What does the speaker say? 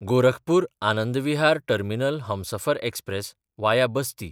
गोरखपूर–आनंद विहार terminal Humsafar express (वाया बस्ती)